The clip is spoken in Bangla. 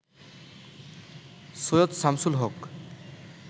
সৈয়দ শামসুল হক